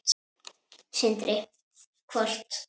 Sindri: Hvort?